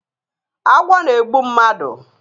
Agwọ na egbu mmadu